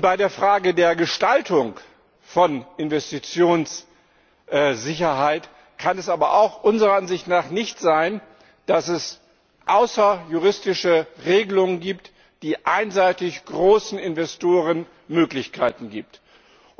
Bei der Frage der Gestaltung von Investitionssicherheit kann es aber unserer Ansicht nach auch nicht sein, dass es außerjuristische Regelungen gibt, die einseitig großen Investoren Möglichkeiten einräumen.